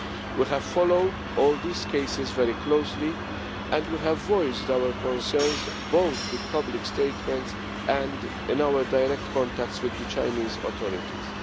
We have followed all these cases very closely and we have voiced our concerns both with public statements and in our direct contacts with the Chinese authorities.